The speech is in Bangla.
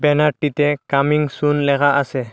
ব্যানারটিতে কামিং সুন লেখা আসে।